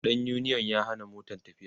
ɗan uniyon ya Hana Motan tafiya